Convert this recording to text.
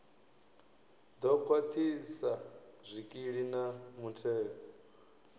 ḓo khwaṱhisa zwikili na mutheo